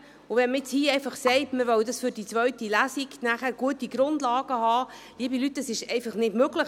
Wenn man hier sagt, dass man für die zweite Lesung gute Grundlagen haben will, ist es einfach nicht möglich.